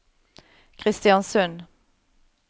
Kristiansund